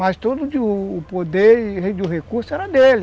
Mas todo o poder e o recurso era dele.